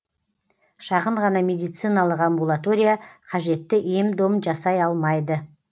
шағын ғана медициналық амбулатория қажетті ем дом жасай алмайды